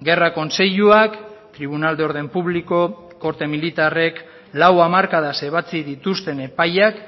gerra kontseiluak tribunal de orden público korte militarrek lau hamarkadaz ebatzi dituzten epaiak